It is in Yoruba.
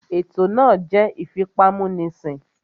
Ètò náà jẹ́ ìfipámúnisìn